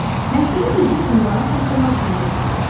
O, məktubu düzgün ünvana çatdırmaq üçün götürdü.